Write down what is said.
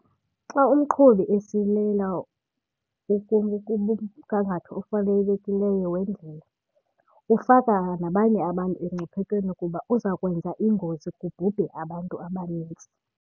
Xa umqhubi esilela kumgangatho ofanelekileyo wendlela ufaka nabanye abantu emngciphekweni kuba uza kwenza iingozi kubhubhe abantu abanintsi.